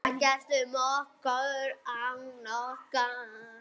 Ekkert um okkur án okkar!